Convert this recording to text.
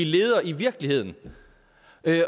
leder i virkeligheden